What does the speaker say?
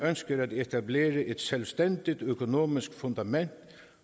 ønsker at etablere et selvstændigt økonomisk fundament